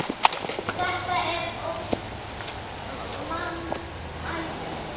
Þetta er óðs manns æði!